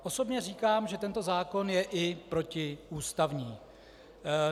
Osobně říkám, že tento zákon je i protiústavní.